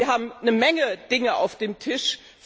Wir haben eine Menge Dinge auf dem Tisch.